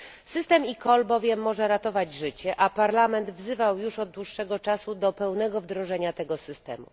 System eCall może bowiem ratować życie, a Parlament wzywał już od dłuższego czasu do pełnego wdrożenia tego systemu.